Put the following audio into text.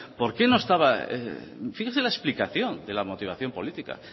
finge la explicación de la motivación política